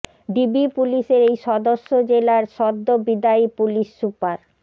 DB পুলিশের এই সদস্য জেলার সদ্য বিদায়ী পুলিশ সুপার